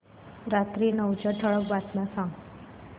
रात्री नऊच्या ठळक बातम्या सांग